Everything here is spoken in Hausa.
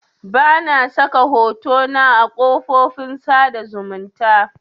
Bana saka hotona a kafofin sada zumunta